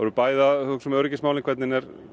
bæði að hugsa um öryggismálin hvernig